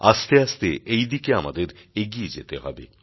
আস্তে আস্তে এই দিকে আমাদের এগিয়ে যেতে হবে